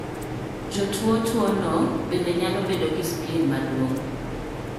Jotuo tuo no bende nyalo bedo gi spleen maduong'